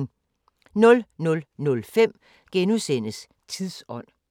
00:05: Tidsånd *